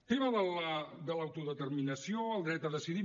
tema de l’autodeterminació el dret a decidir